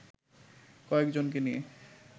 কয়েকজনকে নিয়ে